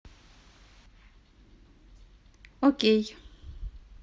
окей